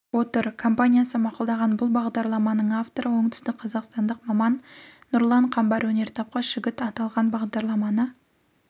отыр компаниясы мақұлдаған бұл бағдарламаның авторы оңтүстікқазақстандық маман нұрлан қамбар өнертапқыш жігіт аталған бағдарламаны